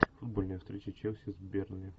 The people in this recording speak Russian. футбольная встреча челси с бернли